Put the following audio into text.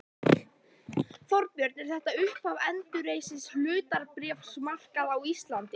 Þorbjörn: Er þetta upphaf endurreists hlutabréfamarkaðar á Íslandi?